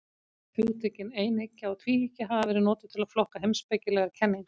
Hugtökin einhyggja og tvíhyggja hafa verið notuð til að flokka heimspekilegar kenningar.